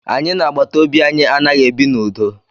Anyị na agbataobi anyị anaghị ebi n'udo